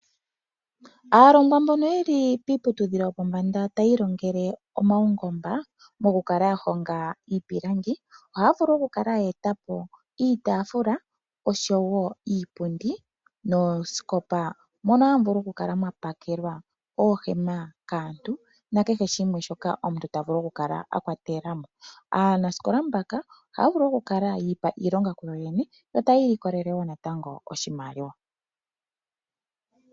Aalongwa mbono ye li kiiputudhilo yo pombanda ta ya ilongele omaungomba, oha ya vulu oku kala ye etapo iitaafula noshowo iipundi nosho woo oosikopa, moka ha mu vulu oku kala mwapakelwa oohema kaantu na kehe shimwe shoka omuntu tavulu oku kala apakela mo. Aanasikola mboka oha ya vulu oku kala yi ipa iilonga ku yo yene yo ta ya ili ko lele oshimaliwa.